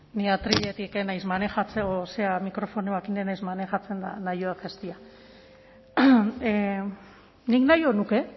ni atriletik ez naiz mikrofonoaz ni ez naiz manejatzen eta nahiago dut jaitsi nik nahiago nuke